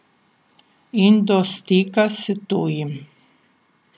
In do stika s tujim.